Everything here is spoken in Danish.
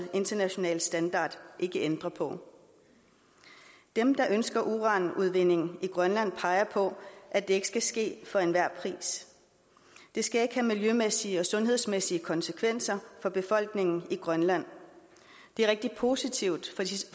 internationale standard ikke ændre på dem der ønsker uranudvinding i grønland peger på at det ikke skal ske for enhver pris det skal ikke have miljømæssige og sundhedsmæssige konsekvenser for befolkningen i grønland det er rigtig positivt